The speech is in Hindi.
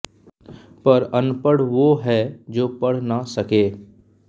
पर अनपढ़ वो है जो पढ़ ना सके